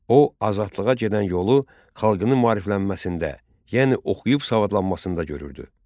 O azadlığa gedən yolu xalqının maariflənməsində, yəni oxuyub savadlanmasında görürdü.